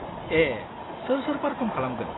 ए, सोर-सोर पार्फम खालामगोन?